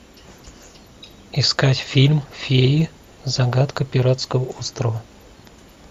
искать фильм феи загадка пиратского острова